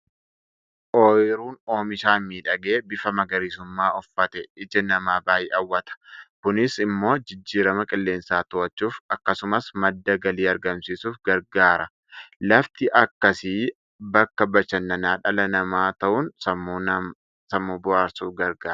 Ooyiruun omishaan miidhagee bifa magariisummaa uffate ija namaa baay'ee hawwata. Kunis immoo jijjiirama qilleensaa to'achuuf, akkasumas madda galii argamsiisuuf gargaara. Lafti akkasii bakka bashannana dhala namaa ta'uun sammuu bohaarsuuf gargaara.